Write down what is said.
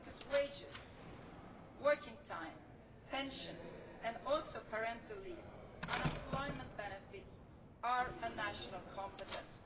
Because wages, working time, pensions, parental leave and unemployment benefits are a national competence.